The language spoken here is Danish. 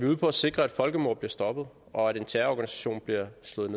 ude på at sikre at folkemordet bliver stoppet og at en terrororganisation bliver slået